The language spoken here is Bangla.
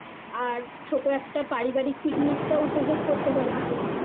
আর ছোট একটা পারিবারিক পিননিকটাও উপভোগ করতে পারবি তুই